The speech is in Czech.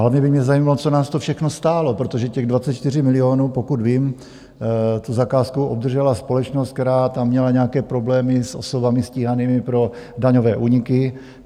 Hlavně by mě zajímalo, co nás to všechno stálo, protože těch 24 milionů - pokud vím, tu zakázku obdržela společnost, která tam měla nějaké problémy s osobami stíhanými pro daňové úniky.